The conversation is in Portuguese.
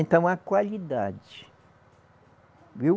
Então a qualidade, viu?